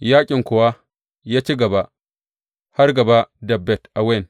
Yaƙin kuwa ya ci gaba har gaba da Bet Awen.